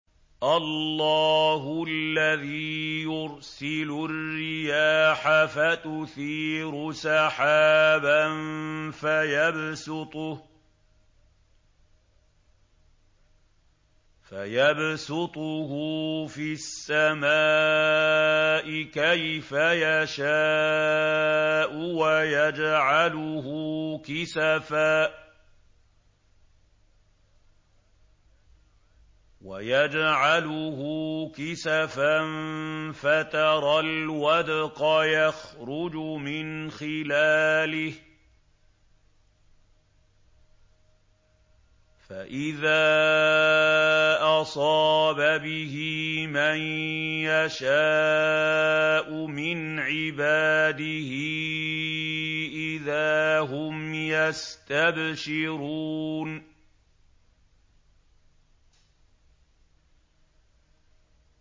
اللَّهُ الَّذِي يُرْسِلُ الرِّيَاحَ فَتُثِيرُ سَحَابًا فَيَبْسُطُهُ فِي السَّمَاءِ كَيْفَ يَشَاءُ وَيَجْعَلُهُ كِسَفًا فَتَرَى الْوَدْقَ يَخْرُجُ مِنْ خِلَالِهِ ۖ فَإِذَا أَصَابَ بِهِ مَن يَشَاءُ مِنْ عِبَادِهِ إِذَا هُمْ يَسْتَبْشِرُونَ